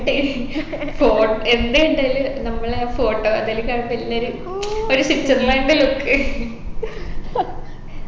ഫോ എന്താ ഉണ്ടായിന് നമ്മളെ photo അതെലും കാണിച്ച് കൊടുന്നൊരു ഒരു സ്വിറ്റ്സർലൻഡിന്റെ look